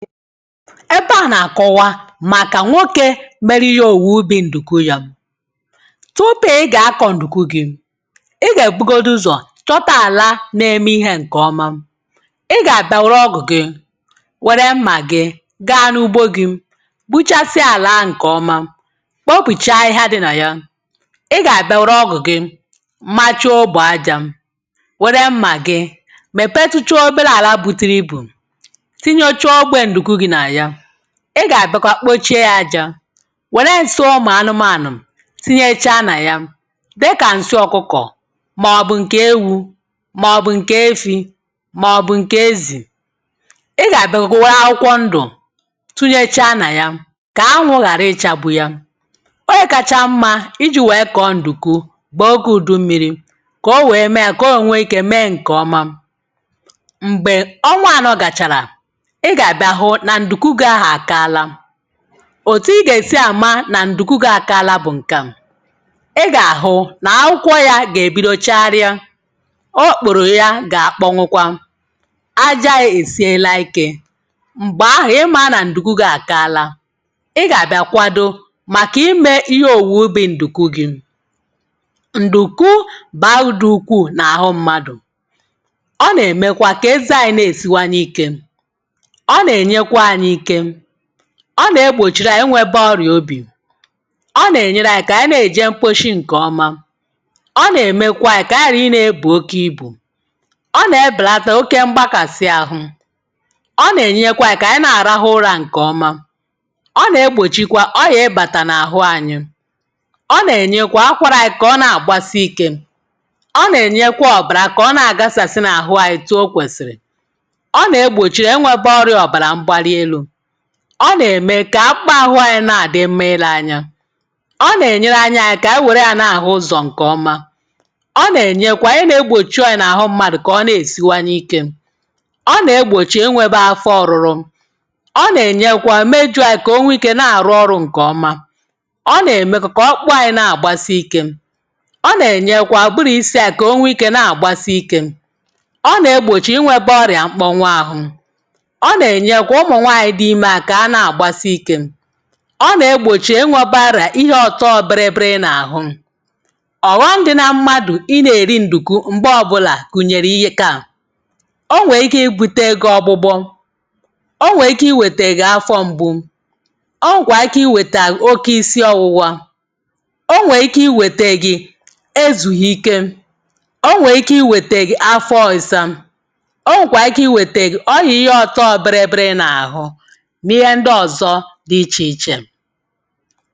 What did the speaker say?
Ebe a nà-àkọwa màkà nwoke merihe owu ubi̇ ǹdùku ya. Tupu ị gà-akọ̀ ǹdùku gị̇, ị gà-èbugodu ụzọ̀ chọta àla na-eme ihe ǹkè ọma. Ị gà-àbịa wère ọgụ gị wère mmà gị gaa n’ugbȯ gị gbuchasịa àlaahụ ǹkè ọma kpopùchaa ahịhịa dị nà ya. Ị gà-àbịa wère ọgụ gị macha ogbè ajȧ wère mmà gị mèpetụcha obere àla buturi ibù tinyechaa ogbe nduku gị na ya. Ị gà-àbịakwa kpochie ya ajȧ wère nsị ụmụ̀ anụmànụ̀ tinyechaa nà ya dịkà ǹsị ọkụkọ̀ màọbụ̀ ǹkè ewu màọbụ̀ ǹkè efi màọbụ̀ ǹkè ezì. Ị gà-àbịakwa were akwụkwọ ndụ̀ tụnyechaa nà ya kà anwụ̇ ghàra ịchȧgbụ̇ ya. Ogė kacha mmȧ iji̇ wee kọ̀ọ ǹdùku bụ̀ oge ùdu mmiri̇ iji wee mee ya kà o wẹ̀ẹ mee yȧ kà o wee nwe ikė mee ǹkè ọma. Mgbè ọnwa ànọ gàchàrà, ị gabịa hụna nduku gahụ akaala. Otù ị gà-èsi àma nà ǹdùkú gàkaala bụ̀ ǹkà: ị gà-àhụ nà akwụkwọ ya gà-èbido chagharịa, o okpòrò ya gà-àkpọnwụkwa, aja ye èsiela ikė, m̀gbè ahụ̀ ị maa nà ǹdùkú gị́ àkaala. Ị gà-àbịa kwàdo màkà imė ihe òwùwè ubi̇ ǹdùkú gị. Ndùkú bàudu ukwuù nà àhụ mmadù, ọ nà-eme keze anyị nesiwanye ike, ọ na-enyekwanyị ike, ọ na-egbòchiri ànyị inwėbė ọrìa obì, ọ nà-ènyeranyị kà ànyi na-èje mkposhi ǹkọ̀ọma, ọ nà-èmekwa anyị kà ànyị gharainėėbù oke ibù, ọ nà-ebèlata oke mgbakàsị àhụ, ọ nà-ènyekwa anyị kà ànyị na-àrahụ ụrȧ ǹkọ̀ọma, ọ nà-egbòchikwa ọrìa ịbàtà n’àhụ anyị, ọ nà-ènyekwa kakwaranyị kà ọ na-àgbasị ikė, ọ nà-ènyekwa ọ̀bàrà kà ọ na-àgasàsị n’àhụ anyị otụọ kwèsịrị, ọ nà-ègbochi inwebọrịa ọbara mgbalielu, ọ na-eme kà akpahụ̇ anyị nà-àdị mma ilȧ anya, ọ nà-ènyere anyayị kà ànyị wère ya nà-àhụ ụzọ̀ ǹkèọma, ọ nà-ènyekwa ihe negbòchi ọyị̇a nà-àhụ mmadụ̀ kà ọ na-èsiwanye ikė, ọ nà-egbòchi inwėbe afọ ọ̀rụrụ, ọ nà-ènyekwa aka imeju kà o nwee ikė na-àrụ ọrụ̇ ǹkèọma, ọ nà-èmekwa kà ọkpụkpụ anyị̇ na-àgbasị ikė, ọ nà-ènyekwa ụbụrụ̇ isi anyị konwike na-agbasị ike, ọ nà-egbòchi inwėbe ọrìà mkpọnwụ ahụ̇, ọ na-enyekwa ụmụnwanyị dị imaka na-agbasị ike, ọ nà-egbòchi ịnwọ̇bȧara ihe ọ̀tọ bịrị bịrị nà àhụ. Ọghọm dị na mmadụ̀ ịnė rịi ǹdùku m̀gbe ọbụlà gụnyèrè ihe ka a: ọ nwèè ike ibute gị ọgbụgbọ, o nwèè ike iwètè gị afọ m̀gbu, o nwèkwà ike iwètè gị oke isi ọwụwa, o nwèè ike iwète gị ezùghị ike, o nwèè ike iwète gị afọ ọ̇ịsa, o nwèkwà ike iwète gị ọyị̀a ihe ọ̀tọọ̇ bịrị bịrị nà àhụ, n'ihe ndị ọzọ dị ichè ichè.